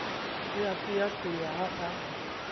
o a qeaqea ha a